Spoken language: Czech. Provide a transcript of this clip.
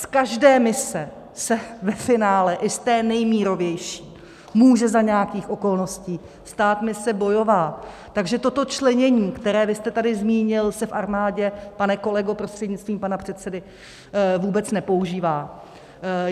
Z každé mise se ve finále, i z té nejmírovější, může za nějakých okolností stát mise bojová, takže toto členění, které vy jste tady zmínil, se v armádě, pane kolego, prostřednictvím pana předsedy, vůbec nepoužívá.